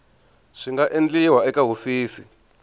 swi nga endliwa eka hofisi